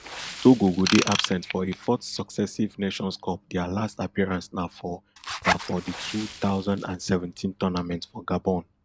togo go dey absent for a fourth successive nations cup dia last appearance na for na for di two thousand and seventeen tournament for gabon